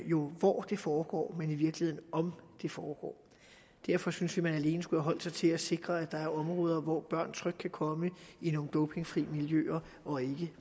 hvor det foregår men i virkeligheden om det foregår derfor synes vi man alene skulle have holdt sig til at sikre at der er områder hvor børn trygt kan komme i nogle dopingfri miljøer og ikke